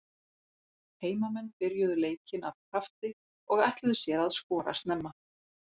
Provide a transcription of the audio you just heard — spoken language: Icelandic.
Heimamenn byrjuðu leikinn af krafti og ætluðu sér að skora snemma.